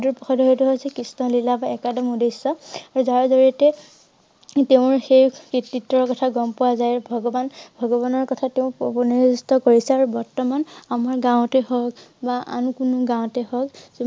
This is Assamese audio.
হৈছে কৃষ্ণ লীলা বা একাদিম উদ্দেশ্য যাৰ জৰিয়তে তেওঁৰ সেই কৃতিত্বৰ কথা গম পোৱা যায় ভগৱান~ভগবানৰ কথা তেওঁ কৰিছে আৰু বৰ্তমান আমাৰ গাওঁতে হওঁক বা আন কোনো গাওঁতে হওঁক